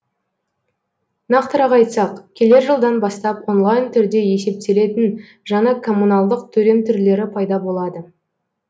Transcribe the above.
нақтырақ айтсақ келер жылдан бастап онлайн түрде есептелетін жаңа коммуналдық төлем түрлері пайда болады